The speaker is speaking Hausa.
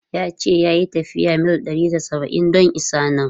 Ya ce ya yi tafiyar mil ɗari da saba’in don isa nan.